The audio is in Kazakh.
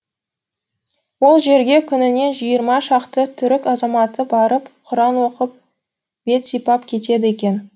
ол жерге күніне жиырма шақты түрік азаматы барып құран оқып бет сипап кетеді екен